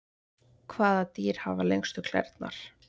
hvaða dýr hafa lengstu klærnar